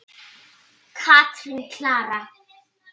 Katrín Klara.